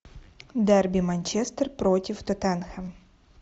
дерби манчестер против тоттенхэм